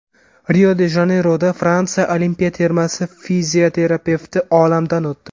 Rio-de-Janeyroda Fransiya Olimpiya termasi fizioterapevti olamdan o‘tdi.